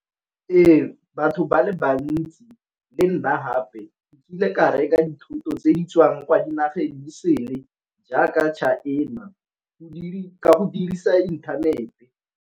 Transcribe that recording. Ee batho ba le bantsi le nna gape nkile ka reka dithoto tse di tswang kwa dinageng tse di sele jaaka China ka go dirisa inthanete.